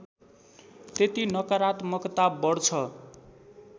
त्यति नकरात्मकता बढ्छ